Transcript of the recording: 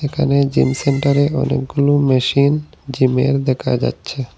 এখানে জিম সেন্টারে অনেকগুলো মেশিন জিমের দেখা যাচ্ছে।